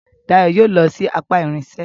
Dayo yóò ló sì apá irinṣẹ́